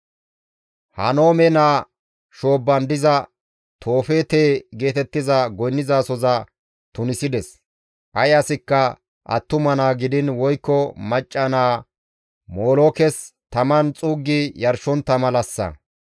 Henoome naa shoobban diza Toofeete geetettiza goynnizasohoza tunisides; ay asikka attuma naa gidiin woykko macca naa Molookes taman xuuggi yarshontta malassa.